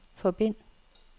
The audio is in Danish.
forbind